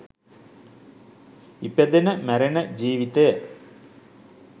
ඉපදෙන මැරෙන ජීවිතය